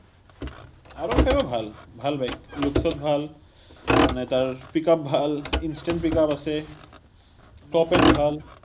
r one five ও ভাল, ভাল bike. looks ত ভাল, মানে তাৰ pickup ভাল, instant pickup আছে, topez ভাল।